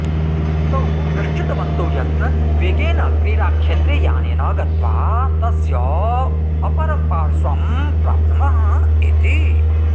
तौ निश्चितवन्तौ यत् वेगेन क्रीडाक्षेत्रे यानेन गत्वा तस्य अपरपार्श्वं प्राप्नुमः इति